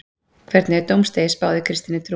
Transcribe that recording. Hvernig er dómsdegi spáð í kristinni trú?